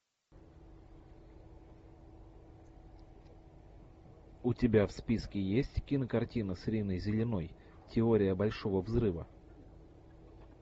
у тебя в списке есть кинокартина с риной зеленой теория большого взрыва